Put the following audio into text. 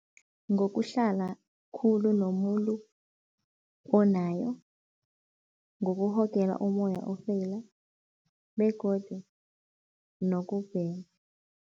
Ngokuhlala khulu nomuntu onayo, ngokurhogela umoya ofeyila begodu nokubhema.